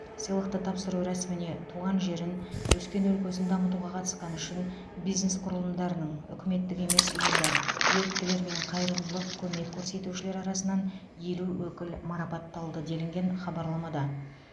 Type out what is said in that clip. сыйлықты тапсыру рәсіміне туған жерін өскен өлкесін дамытуға қатысқаны үшін бизнес құрылымдарының үкіметтік емес ұйымдар еріктілер мен қайырымдылық көмек көрсетушілер арасынан елу өкіл марапатталды делінген хабарламада